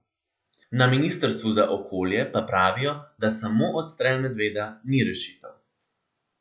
Na ministrstvu za okolje pa pravijo, da samo odstrel medveda ni rešitev.